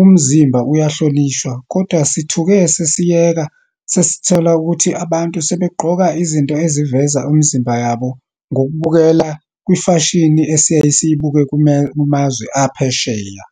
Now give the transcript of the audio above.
umzimba uyahlonishwa, kodwa sithuke sesiyeka, sesithola ukuthi abantu sebegqoka izinto eziveza imizimba yabo, ngokubukela kwimfashini esiyaye siyibuke kumazwe aphesheya.